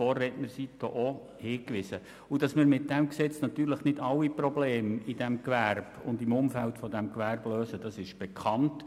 Vorredner haben schon darauf hingewiesen: Dass wir mit diesem Gesetz nicht alle Probleme dieses Gewerbes und im Umfeld desselben lösen, ist bekannt.